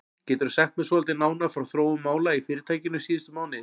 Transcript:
Geturðu sagt mér svolítið nánar frá þróun mála í fyrirtækinu síðustu mánuði?